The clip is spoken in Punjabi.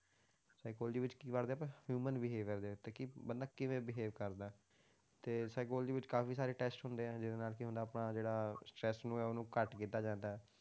Psychology ਵਿੱਚ ਕੀ ਪੜ੍ਹਦੇ ਆਪਾਂ human behaviour ਦੇ ਉੱਤੇ ਕਿ ਬੰਦਾ ਕਿਵੇਂ behave ਕਰਦਾ ਹੈ, ਤੇ psychology ਵਿੱਚ ਕਾਫ਼ੀ ਸਾਰੇ test ਹੁੰਦੇ ਆ, ਜਿਹਦੇ ਨਾਲ ਕੀ ਹੁੰਦਾ ਕਿ ਆਪਾਂ ਜਿਹੜਾ stress ਨੂੰ ਹੈ ਉਹਨੂੰ ਘੱਟ ਕੀਤਾ ਜਾਂਦਾ ਹੈ।